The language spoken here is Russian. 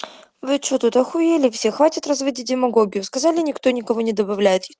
вы что тут ахуели все хватит разводить демагогию сказали никто никого не добавляет